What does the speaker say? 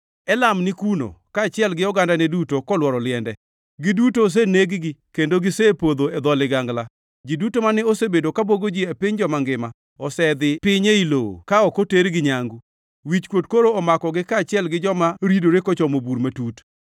“Elam ni kuno, kaachiel gi ogandane duto kolworo liende. Giduto oseneg-gi, kendo gisepodho e dho ligangla. Ji duto mane osebedo ka bwogo ji e piny joma ngima osedhi piny ei lowo ka ok otergi nyangu. Wichkuot koro omakogi kaachiel gi joma ridore kochomo bur matut.